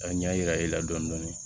Ka ɲa yira e la dɔɔnin dɔɔnin